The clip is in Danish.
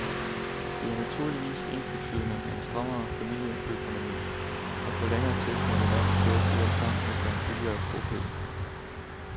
Det er naturligvis ensbetydende med en strammere familieøkonomi, og på længere sigt må vi nok til at se os om efter en billigere bopæl.